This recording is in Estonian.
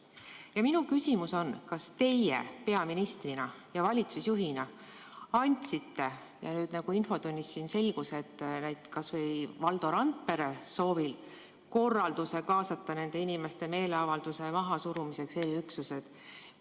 Ja minu küsimus on, kas teie peaministrina ja valitsusjuhina andsite korralduse – nagu nüüd siin infotunnis selgus, kas või Valdo Randpere soovil – kaasata nende inimeste meeleavalduse mahasurumiseks eriüksused.